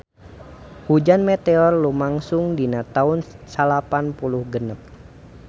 Hujan meteor lumangsung dina taun salapan puluh genep